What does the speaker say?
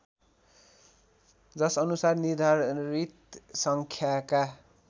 जसअनुसार निर्धारित सङ्ख्याका